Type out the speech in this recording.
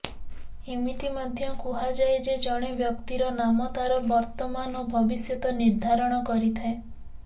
ଏମିତି ମଧ୍ୟ କୁହାଯାଏ ଯେ ଜଣେ ବ୍ୟକ୍ତିର ନାମ ତାର ବିର୍ତ୍ତମାନ ଓ ଭବିଷ୍ୟତ ନିର୍ଦ୍ଧାରଣ କରିଥାଏ